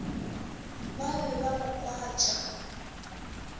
ba be ba mo kwatša